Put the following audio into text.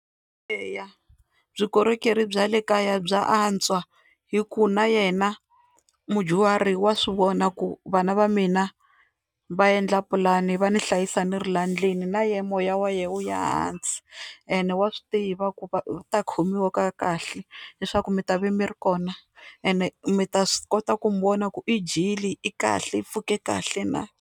Eya vukorhokeri bya le kaya bya antswa hi ku na yena mudyuhari wa swivona ku vana va mina va endla pulani va ni hlayisa ni ri la ndlwini na ye moya wa yena wu ya ehansi, ene wa swi tiva ku va u ta khomiwa ka kahle leswaku mi ta va mi ri kona ene mi ta swi kota ku n'wi vona ku i dyile, i kahle, i pfuke kahle na.